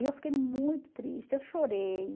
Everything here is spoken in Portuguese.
E eu fiquei muito triste, eu chorei.